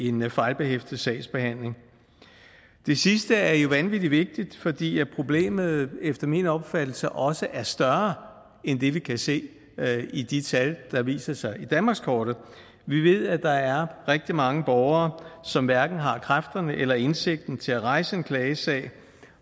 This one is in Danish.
en fejlbehæftet sagsbehandling det sidste er vanvittig vigtigt fordi problemet efter min opfattelse også er større end det vi kan se i de tal der viser sig på danmarkskortet vi ved at der er rigtig mange borgere som hverken har kræfterne eller indsigten til at rejse en klagesag